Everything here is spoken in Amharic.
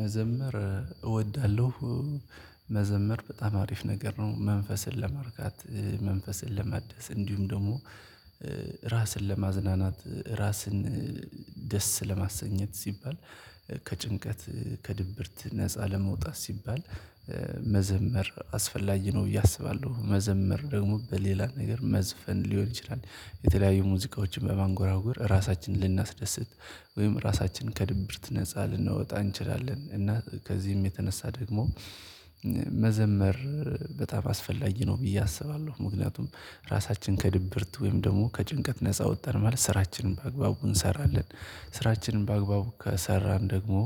መዘመር እወዳለሁ። መዘመር በጣም አሪፍ ነገር ነው። መንፈስን ለማርካት፣ መንፈስን ለማደስ እንዲሁም ደግሞ ራስን ለማዝናናት ራስን ደስ ለማሰኘት ሲባል ከጭንቀት ከድብርት ነፃ ለመውጣት ሲባል መዘመር አስፈላጊ ነው ብዬ አስባለሁ። መዘምር ደግሞ በሌላ ነገር መዝፈን ሊሆን ይችላል። የተለያዩ ሙዚቃዎችን በማንጎራጎር ራሳችንን ልናስደስት ወይም ራሳችንን ከድብርት ነፃ ልናወጣ እንችላለን፤ እና ከዚህም የተነሳ ደግሞ መዘመር በጣም አስፈላጊ ነው ብዬ አስባለሁ። ምክንያቱም ራሳችን ከድብርት ወይም ደግሞ ከጭንቀት ነፃ ወጣን ማለት ስራችንን በአግባቡ እንሰራለን፤ ስራችንን በአግባቡ ከሰራን ደግሞ